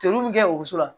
Toro mun bɛ kɛ o muso la